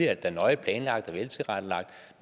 er nøje planlagt og veltilrettelagt